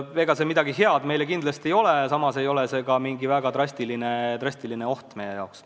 Ega see midagi head meile kindlasti ei ole, samas ei ole see ka mingi väga drastiline oht meie jaoks.